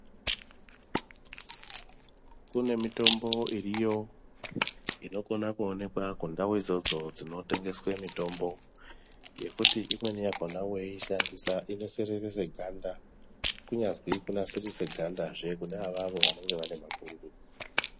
Kune mitombo iriyo inokona kuonekwa kundau idzodzo dzinotengeswa mitombo yekuti imweni yakona weishandisa inosereresa ganda. Kunyazwi kunasirisa ganda hee kune avavo vanenge vane mapundu .